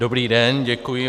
Dobrý den, děkuji.